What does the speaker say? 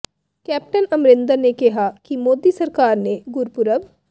captain Amarinder ਨੇ ਕਿਹਾ ਕਿ ਮੋਦੀ ਸਰਕਾਰ ਨੇ ਗੁਰਪੁਰਬ